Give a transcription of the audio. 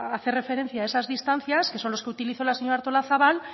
hacer referencia a esas distancias que son los que utilizó la señora artolazabal